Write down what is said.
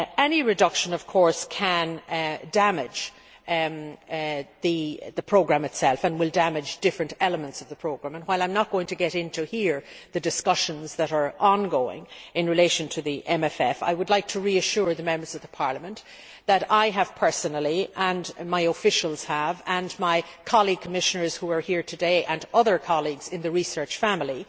Any reduction can damage the programme itself and will damage different elements of the programme. While I am not going to go into the discussions that are ongoing in relation to the MFF here, I would like to reassure Members of the Parliament that I have personally as have my officials and my colleague Commissioners who are here today and other colleagues in the research family